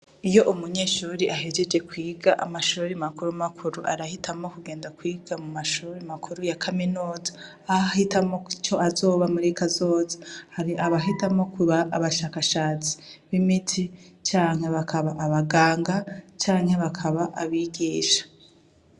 Iyo umunyeshuri ahejeje kwiga amashururi makuru makuru arahitamo kugenda kwiga mu mashuuri makuru ya kaminoti aho ahitamo ico azoba muri kazoza hari abahitamo kuba abashakashatsi b'imiti canke bakaba abaganga canke bakaba abigisha.